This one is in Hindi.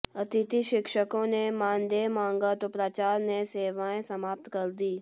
अतिथि शिक्षकों ने मानदेय मांगा तो प्राचार्य ने सेवाएं समाप्त कर दीं